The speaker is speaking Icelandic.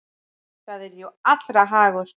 Það er jú allra hagur.